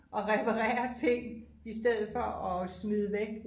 og reperere ting i stedet for at smide væk